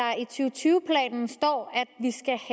tyve planen står